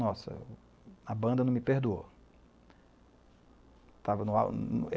Nossa, a banda não me perdoou.